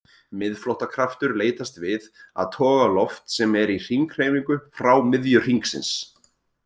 Miðflóttakraftur leitast við að toga loft sem er í hringhreyfingu frá miðju hringsins.